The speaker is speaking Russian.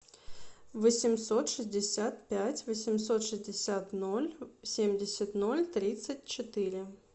восемьсот шестьдесят пять восемьсот шестьдесят ноль семьдесят ноль тридцать четыре